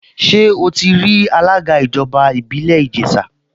Ṣé ó ti rí alága ìjọba ìbílẹ̀ Ìjẹ̀ṣà?